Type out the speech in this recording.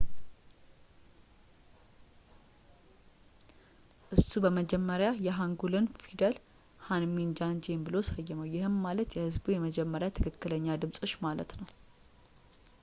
እሱ በመጀመሪያ የሃንጉልን ፊደል ሐንሚን ጆንጂዬም ብሎ ሰየመው ይህም ማለት ለሕዝቡ መመሪያ ትክክለኛ ድምጾች ማለት ነው